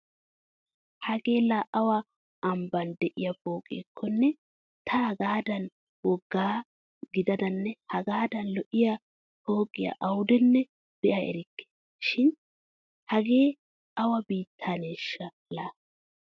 Hagee laa awa ambban de'iya pooqekkonne ta hagaadan wogga gididanne hagaadan lo'iya pooqiya awudenne be'a erikke. Shin hagee awa biitaaneeshsha laa!